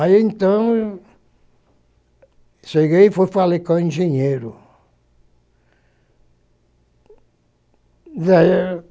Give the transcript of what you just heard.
Aí, então, cheguei e fui falei com o engenheiro.